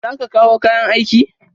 Za ka kawo kayan aiki?